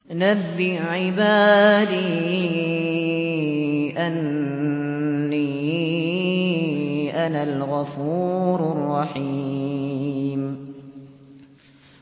۞ نَبِّئْ عِبَادِي أَنِّي أَنَا الْغَفُورُ الرَّحِيمُ